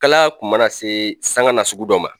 Kalaya kun mana se sanga nasugu dɔ ma